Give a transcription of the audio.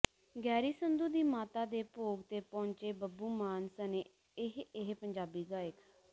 Garry Sandhu ਦੀ ਮਾਤਾ ਦੇ ਭੋਗ ਤੇ ਪਹੁੰਚੇ ਬੱਬੂ ਮਾਨ ਸਣੇ ਇਹ ਇਹ ਪੰਜਾਬੀ ਗਾਇਕ